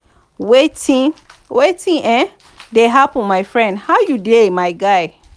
wetin wetin um dey happen my friend how you dey my guy?